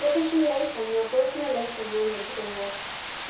professional life தனியா personal life தனியான்னு வச்சுக்கோங்க